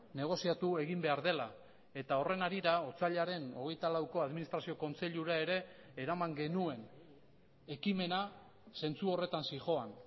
negoziatu egin behar dela eta horren harira otsailaren hogeita lauko administrazio kontseilura ere eraman genuen ekimena zentzu horretan zihoan